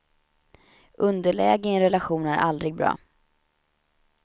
Underläge i en relation är aldrig bra.